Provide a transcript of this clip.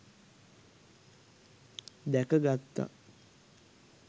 දැක ගත්තා.